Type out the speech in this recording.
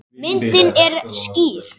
Myndin er skýr.